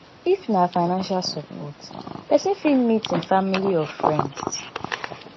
if na financial support person fit meet im family or friends